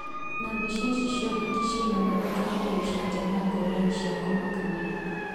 Na mbica ici cia ũhiki ciĩna mathekania na icanjama ngurani cia kũmakania.